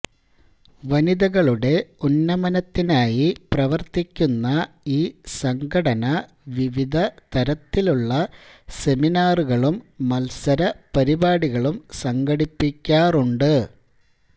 വനിതകളുടെ ഉന്നമനത്തിനായി പ്രവൃത്തിക്കുന്ന ഈ സംഘടന വിവിധ തരത്തിലുള്ള സെമിനാറുകളും മത്സരപരിപാടികളും സംഘടിപ്പിക്കാറുണ്ട്